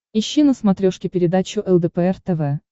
ищи на смотрешке передачу лдпр тв